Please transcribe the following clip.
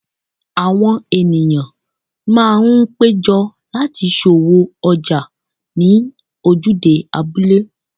Àwọn ènìyàn máa ń péjọ láti ṣòwò ọjà ní ojúde abúlé.